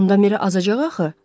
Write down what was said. Onda Miri azacaq axı.